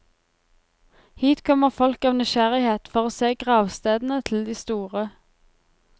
Hit kommer folk av nysgjerrighet, for å se gravstedene til de store.